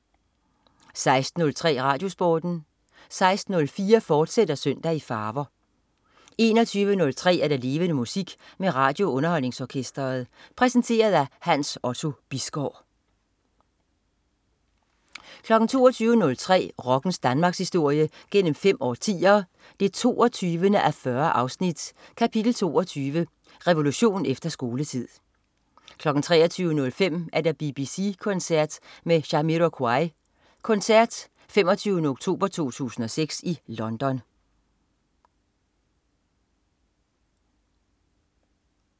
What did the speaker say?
16.03 RadioSporten 16.04 Søndag i farver, fortsat 21.03 Levende Musik. Med RadioUnderholdningsOrkestret. Præsenteret af Hans Otto Bisgaard 22.03 Rockens Danmarkshistorie gennem fem årtier, 22:40. Kapitel 22: Revolution efter skoletid 23.05 BBC koncert med Jamiroquai. koncert 25. oktober 2006 i London